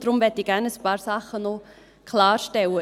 Deshalb möchte ich gerne noch ein paar Dinge klarstellen.